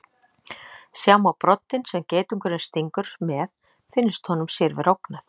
Sjá má broddinn sem geitungurinn stingur með finnist honum sér vera ógnað.